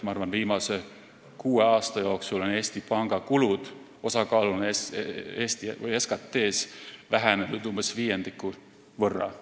Ma arvan, et viimase kuue aasta jooksul on Eesti Panga kulud osakaaluna SKT-s vähenenud umbes viiendiku võrra.